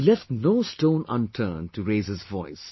He left no stone unturned to raise his voice